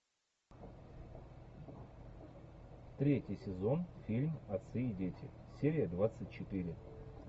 третий сезон фильм отцы и дети серия двадцать четыре